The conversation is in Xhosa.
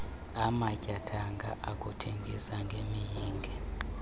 amatyathanga okuthengisa ngemiyinge